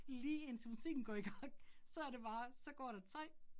Lige indtil musikken går i gang, så det bare, så går der 3